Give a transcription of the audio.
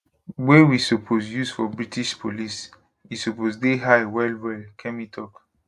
wey we suppose use for british police e suppose dey high wellwell kemi tok